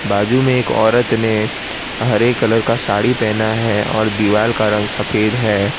बाजू में एक औरत ने हरे कलर का साड़ी पहना है और दीवाल का रंग सफेद है।